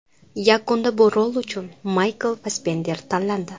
Yakunda bu rol uchun Maykl Fassbender tanlandi.